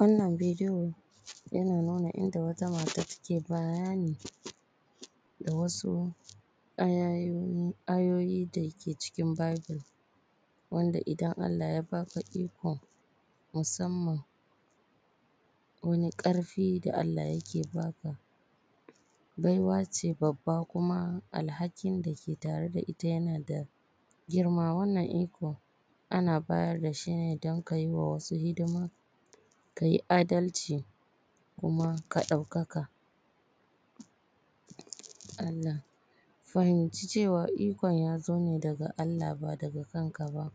Wannan video yana nuna inda wata mata take bayani da wasu ayoyi dake cikin Bible, wanda idan Allah ya baka iko musamman wani ƙarfi da Allah yake baka, baiwa ce babba kuma alhakin da ke tare da ita yana da girma, wannan iko ana bayar da shi don kayi wa wasu hidima, kayi adalci kuma ka ɗaukaka Allah. Ka fahimci cewa ikon yazo ne daga Allah ba daga kan ka ba,